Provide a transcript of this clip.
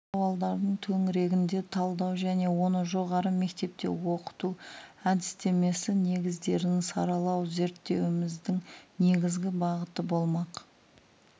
сауалдардың төңірегінде талдау және оны жоғары мектепте оқыту әдістемесі негіздерін саралау зерттеуіміздің негізгі бағыты болмақ